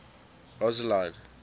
rosseline